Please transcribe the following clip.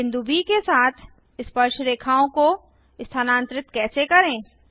बिंदु ब के साथ स्पर्शरेखाओं को स्थानांतरित कैसे करें